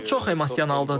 O çox emosionaldır.